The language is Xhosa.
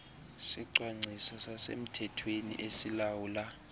sicwangciso sasemthethweni esilawula